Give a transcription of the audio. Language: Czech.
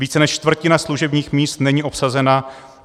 Více než čtvrtina služebních míst není obsazena.